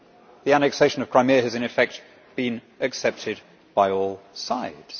The annexation of Crimea has, in effect, been accepted by all sides.